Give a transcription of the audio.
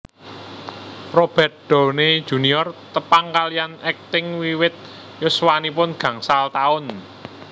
Robert Downey Junior tepang kaliyan akting wiwit yuswanipun gangsal taun